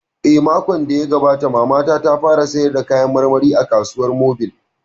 Eh, makon da ya gabata Mamana ta fara sayar da kayan marmari a kasuwar mobil